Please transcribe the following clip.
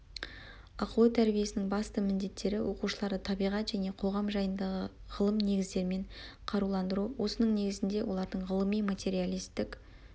ақыл ой тәрбиесінің басты міндеттері оқушыларды табиғат және қоғам жайындағы ғылым негіздерімен қаруландыру осының негізінде олардың ғылыми материалистік